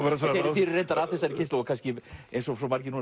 þið eruð reyndar af þessari kynslóð eins og svo margir núna